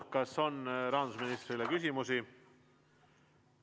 Kas on rahandusministrile küsimusi?